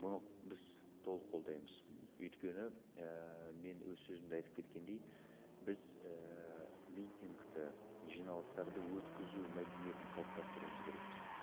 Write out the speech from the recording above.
бұны біз толық қолдаймыз өйткені ііі мен өз сөзімде айтып кеткендей біз ііі митингті жиналыстарды өткізу мәдениетін қалыптастыруымыз керекпіз